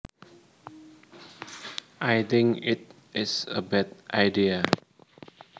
I think it is a bad idea